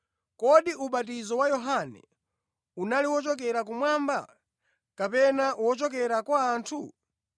‘Kodi ubatizo wa Yohane, unali wochokera kumwamba, kapena wochokera kwa anthu?’ ”